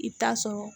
I bɛ taa sɔrɔ